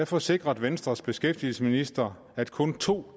forsikrede venstres beskæftigelsesminister at kun to